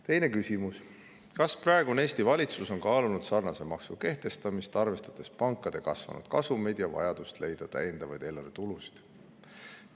Teine küsimus: "Kas praegune Eesti valitsus on kaalunud sarnase maksu kehtestamist, arvestades pankade kasvanud kasumeid ja vajadust leida täiendavaid eelarvetulusid?